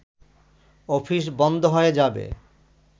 office বন্ধ হয়ে যাবে